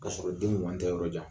Kasɔrɔ den wa n tɛ yɔrɔ jan